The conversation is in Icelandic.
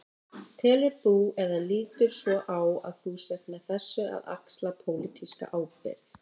Telur þú, eða lítur svo á að þú sért með þessu að axla pólitíska ábyrgð?